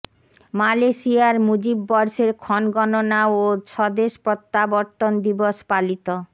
মালয়েশিয়ায় মুজিব বর্ষের ক্ষণগণনা ও স্বদেশ প্রত্যাবর্তন দিবস পালিত